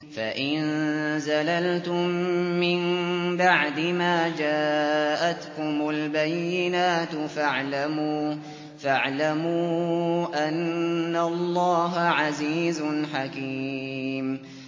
فَإِن زَلَلْتُم مِّن بَعْدِ مَا جَاءَتْكُمُ الْبَيِّنَاتُ فَاعْلَمُوا أَنَّ اللَّهَ عَزِيزٌ حَكِيمٌ